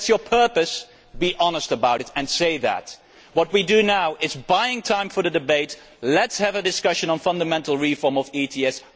If that is your purpose, be honest about it and say so. What we are doing now is buying time for the debate. Let us have a discussion on the fundamental reform of ETS.